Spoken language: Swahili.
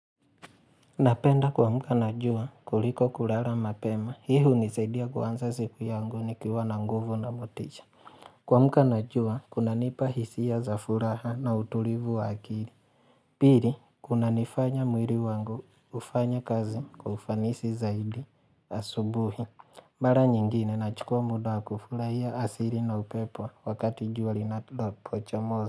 Napenda kuamka na jua kuliko kulala mapema. Hii hunisaidia kuanza siku yangu nikiwa na nguvu na motisha. Kuamka na jua, kunanipa hisia za furaha na utulivu wa akili. Pili, kunanifanya mwili wangu ufanye kazi kwa ufanisi zaidi asubuhi. Mara nyingine, nachukua muda wa kufurahia asili na upepo wakati jua linapochomoza.